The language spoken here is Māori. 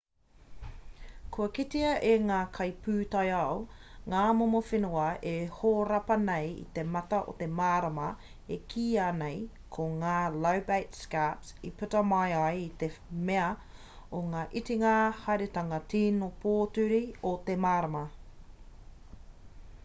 kua kitea e ngā kaipūtaiao ngā momo whenua e horapa nei i te mata o te marama e kīa nei ko ngā lobate scarps i puta mai ai i te mea o te itinga haeretanga tīno pōturi o te marama